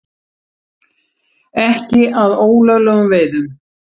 Ekki að ólöglegum veiðum